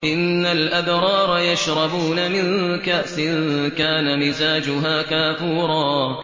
إِنَّ الْأَبْرَارَ يَشْرَبُونَ مِن كَأْسٍ كَانَ مِزَاجُهَا كَافُورًا